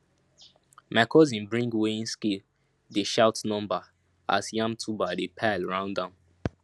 my cousin bring weighing scale dey shout number as yam tuber dey pile round am